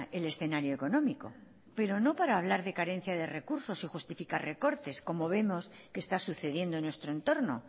el escenario económico pero no para hablar de carencia de recursos y justificar recortes como vemos que está sucediendo en nuestro entorno